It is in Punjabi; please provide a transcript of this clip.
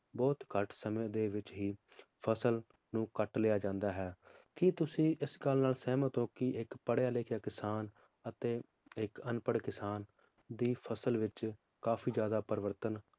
ਬਹੁਤ ਘਟ ਸਮੇ ਦੇ ਵਿਚ ਹੀ ਫਸਲ ਨੂੰ ਕੱਟ ਲਿਆ ਜਾਂਦਾ ਹੈ ਕਿ ਤੁਸੀਂ ਇਸ ਗੱਲ ਨਾਲ ਸਹਿਮਤ ਹੋ ਕਿ ਇਕ ਪੜ੍ਹਿਆ ਲਿਖਿਆ ਕਿਸਾਨ ਅਤੇ ਇਕ ਅਨਪੜ੍ਹ ਕਿਸਾਨ ਦੀ ਫਸਲ ਵਿਚ ਕਾਫੀ ਜ਼ਿਆਦਾ ਪਰਿਵਰਤਨ